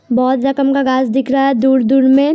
बहोत जख्म का घास दिख रहा है दूर-दूर में --